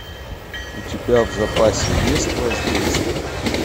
у тебя в запасе есть воздействие